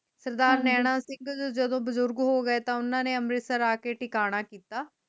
ਸਰਦਾਰ ਨੈਣਾ ਸਿੰਘ ਜਦੋ ਬੁਜੁਰਗ ਹੋਗੇ ਤੇ ਓਹਨਾ ਨੇ ਅੰਮ੍ਰਿਤਸਰ ਆਕੇ ਟਿਕਾਣਾ ਕੀਤਾ